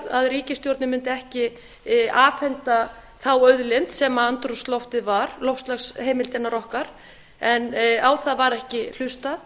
að ríkisstjórnin mundi ekki afhenda þá auðlind sem andrúmsloftið var loftslagsheimildirnar okkar en á það var ekki hlustað